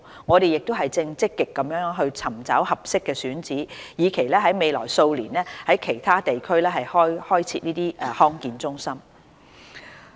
我們正積極尋找合適的選址，以期在未來數年在其他地區開設這類康健中心。